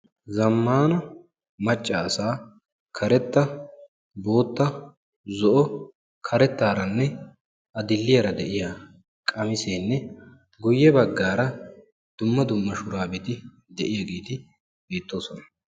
Zammana macca assa qamise, karetta, bootta, zoo, karettarane adil''iyaara deiya qaamisene guye baggara qassi dumma dumma shurabetti bettosona.